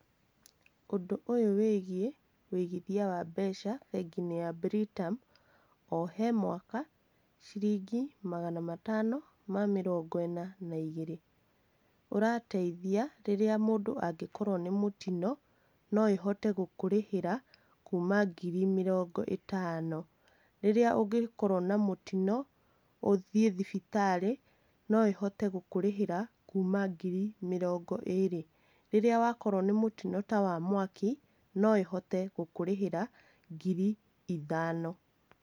Ũndũ ũyũ wĩgiĩ, wĩigithia wa mbeca bengi-inĩ ya Britam, o he mwaka, ciringi magana matano ma mĩrongo ĩna na igĩrĩ. Ũrateithia rĩrĩa mũndũ angĩkorwo nĩ mũtino, no ĩhote gũkũrĩhĩra, kuma ngiri mĩrongo ĩtano. Rĩrĩa ũngĩkorwo na mũtino, uthiĩ thibitarĩ, no ĩhote gũkũrĩhĩra, kuma ngiri mĩrongo ĩri, rĩri wa korwo ni mũtino ta wa mwaki no ĩhote gũkũrĩhĩra ngiri ithano.